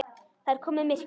Það er komið myrkur.